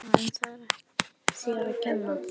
Oj bara en það er ekki þér að kenna